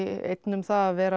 einn um það að vera